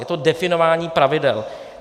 Je to definování pravidel.